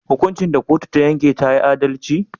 Hukuncin da kotu ta yanke tayi adalci?